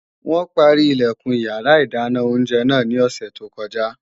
Wọn páárì Ilẹ̀kùn iyàrá ìdáná oúnjẹ náà ní òsè tó kọjá